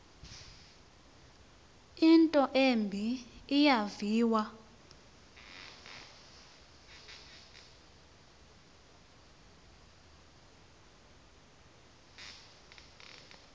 into embi eyaviwa